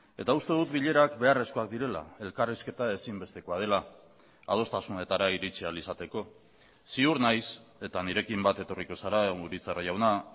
eta uste dut bilerak beharrezkoak direla elkarrizketa ezinbestekoa dela adostasunetara iritsi ahal izateko ziur naiz eta nirekin bat etorriko zara urizar jauna